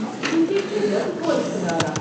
وٕنکٮ۪ن چھُ رٮ۪تہٕ کول خۄدا راہ۔